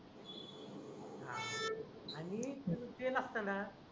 आणि स्टील चे नसतांना